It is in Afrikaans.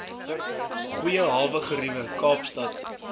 goeie hawegeriewe kaapstad